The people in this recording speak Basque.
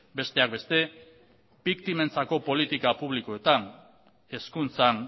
besteak beste biktimentzako politika publikoetan hezkuntzan